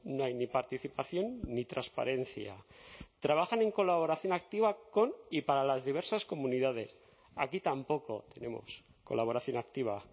no hay ni participación ni transparencia trabajan en colaboración activa con y para las diversas comunidades aquí tampoco tenemos colaboración activa